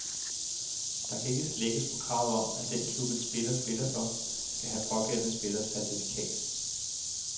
Der kan ikke slækkes på kravet om, at den klub, en spiller spiller for, skal have pågældende spillers certifikat.